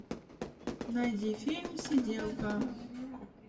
найди фильм сиделка